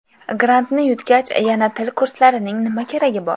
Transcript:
Grantni yutgach, yana til kurslarining nima keragi bor?